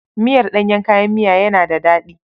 Miyar ɗanyen kayan miya yana da daɗi.